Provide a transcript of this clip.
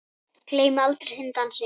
Gleymi aldrei þeim dansi.